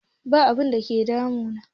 Ba abun da ke damu na